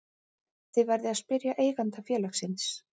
Þið verðið að spyrja eiganda félagsins